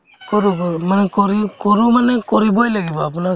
কৰো কৰো মানে কৰি কৰো মানে কৰিবয়ে লাগিব আপোনাৰ